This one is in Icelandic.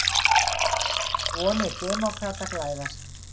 Vonir demókrata glæðast